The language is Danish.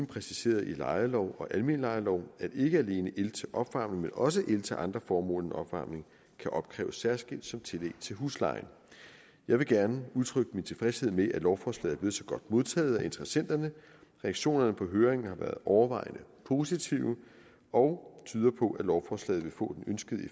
præciseret i lejelov og almen lejelov at ikke alene el til opvarmning men også el til andre formål end opvarmning kan opkræves særskilt som tillæg til huslejen jeg vil gerne udtrykke min tilfredshed med at lovforslaget er blevet så godt modtaget af interessenterne reaktionerne på høringen har været overvejende positive og tyder på at lovforslaget vil få den ønskede